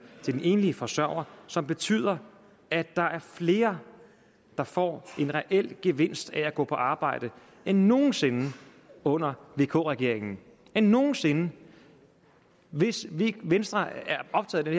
til den enlige forsørger som betyder at der er flere der får en reel gevinst ved at gå på arbejde end nogen sinde under vk regeringen end nogen sinde hvis venstre er optaget af